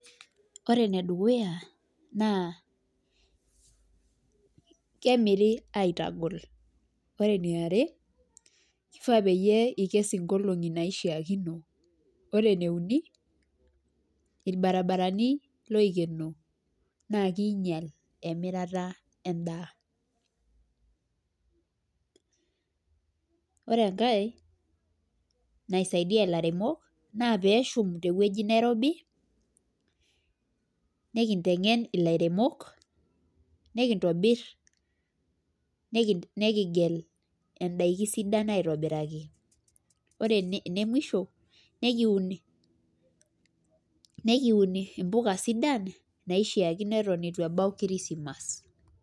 ore enedukuya naa kemiri atagol , ore eniare kishaa pee ikes inkolongi naishaakino, ore eneuni ilbarabarani lookeno naa king'ial emirata edaa, ore engae naisaidia ilairemok naa pee eshum teweji neirobi nikitengen ilairemok kigel idakin esidai aitobiraki, ore enemusho nikiun imbuka sidan naishaakino etu ebau kirisimas.